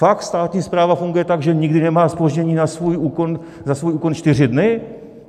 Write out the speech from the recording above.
Fakt státní správa funguje tak, že nikdy nemá zpoždění na svůj úkon čtyři dny?